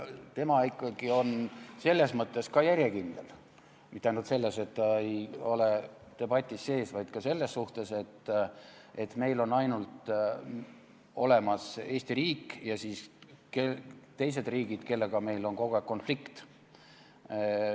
Tema on ikkagi selles mõttes ka järjekindel – mitte ainult selles, et ta ei ole debatis sees, vaid ka selles suhtes, et meil on olemas ainult Eesti riik ja siis teised riigid, kellega meil on kogu aeg konflikt.